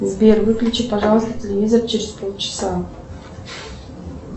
сбер выключи пожалуйста телевизор через полчаса